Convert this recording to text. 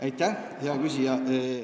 Aitäh, hea küsija!